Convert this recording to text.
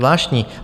Zvláštní.